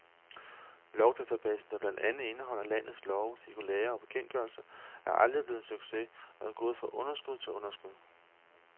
Lovdatabasen, der blandt andet indeholder landets love, cirkulærer og bekendtgørelser, er aldrig blevet en succes og er gået fra underskud til underskud.